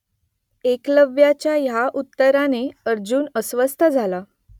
एकलव्याच्या ह्या उत्तराने अर्जुन अस्वस्थ झाला